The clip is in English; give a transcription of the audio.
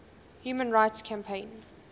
human rights campaign